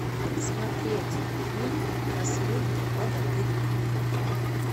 смотреть фильм последний богатырь